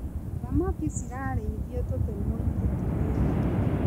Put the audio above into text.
Thamaki cirarĩithio tũtemuinĩ tũnini.